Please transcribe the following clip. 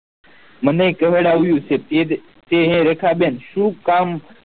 મને કેહવડવાયું છે તેજ તેને રેખા બેન શું કામ